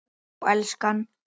Já, elskan?